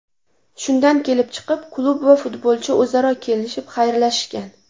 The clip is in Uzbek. Shundan kelib chiqib, klub va futbolchi o‘zaro kelishib, xayrlashishgan.